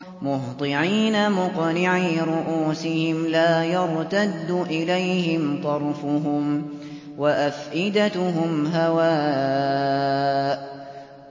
مُهْطِعِينَ مُقْنِعِي رُءُوسِهِمْ لَا يَرْتَدُّ إِلَيْهِمْ طَرْفُهُمْ ۖ وَأَفْئِدَتُهُمْ هَوَاءٌ